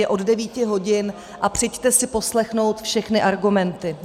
Je od 9 hodin a přijďte si poslechnout všechny argumenty.